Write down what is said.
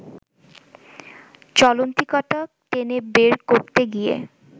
চলন্তিকাটা টেনে বার করতে গিয়ে